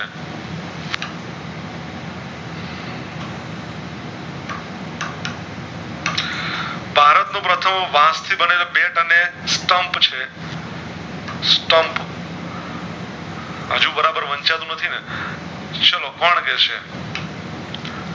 ભારત નું પ્રથમ વાશ થી બનેલું બેટ અને stump છે stump હજુ બરાબર વાંચતું નથી ને ચાલો કોણ કેશે